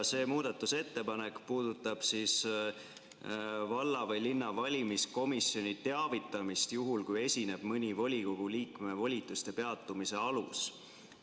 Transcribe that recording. See muudatusettepanek puudutab valla või linna valimiskomisjoni teavitamist juhul, kui esineb mõni volikogu liikme volituste peatumise alus.